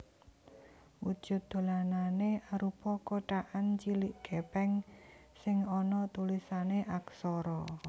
Wujud dolanané arupa kotakan cilik gèpèng sing ana tulisané aksara